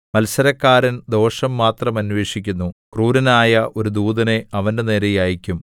മത്സരക്കാരൻ ദോഷം മാത്രം അന്വേഷിക്കുന്നു ക്രൂരനായ ഒരു ദൂതനെ അവന്റെനേരെ അയയ്ക്കും